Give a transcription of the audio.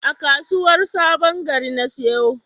A kasuwar sabon gari na siyo.